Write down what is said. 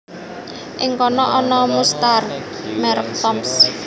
Ing kana ana mustar merek Toms